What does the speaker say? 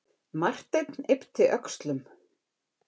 Marteinn yppti öxlum.